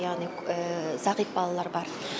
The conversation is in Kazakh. яғни зағип балалар бар